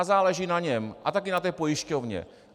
A záleží na něm a také na té pojišťovně.